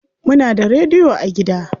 Muna da rediyo a gida?